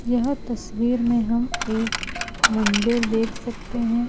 यह तस्वीर में हम एक मंदिर देख सकते हैं।